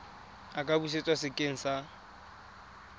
a ka busetswa sekeng sa